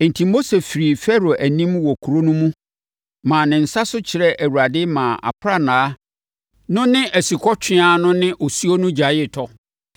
Enti Mose firii Farao anim wɔ kuro no mu maa ne nsa so kyerɛɛ Awurade maa aprannaa no ne asukɔtweaa no ne osuo no gyaee tɔ.